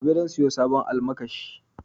Gobe zan siya sabon almakashi